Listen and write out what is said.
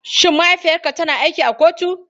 Shin mahaifiyarka tana aiki a kotu?